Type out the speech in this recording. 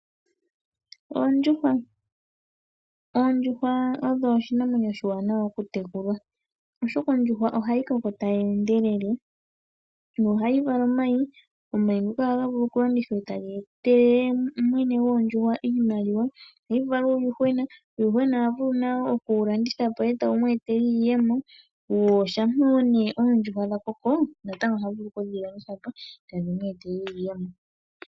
Oondjuhwa, oondjuhwa oyo oshinamwenyo oshiwanawa okutekula, oshoka ondjuhwa ohayi koko tayi endelele nohayi vala omayi. Omayi ngoka ohaga vulu okulandithwa po etaga etele mwene goondjuhwa oshimaliwa. Ohayi vala uuyuhwena mboka hawu vulu okulandithwa etawu eta iiyemo . Shampa oondjuhwa dhakoko ohadhi vulu woo okulandithwa po tadhi eta iiyemo.